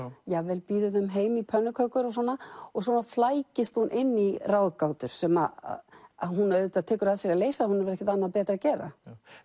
jafnvel býður þeim heim í pönnukökur og svona svona flækist hún inn í ráðgátur sem hún auðvitað tekur að sér að leysa hún hefur ekkert annað betra að gera